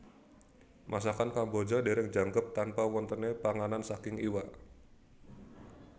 Masakan Kamboja dereng jangkep tanpa wontene panganan saking iwak